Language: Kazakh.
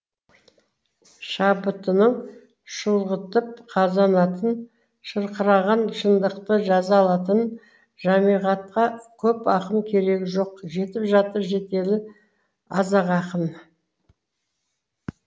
шабытының шұлғытып қазанатын шырқыраған шындықты жаза алатын жамиғатқа көп ақын керегі жоқ жетіп жатыр жетелі аз ақ ақын